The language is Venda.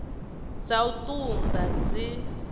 dza u ṱun ḓa dzi